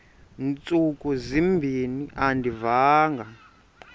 ntsuku zimbin andiyivanga